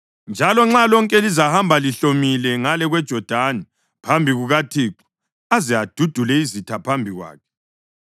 njalo nxa lonke lizahamba lihlomile ngale kweJodani phambi kukaThixo aze adudule izitha phambi kwakhe,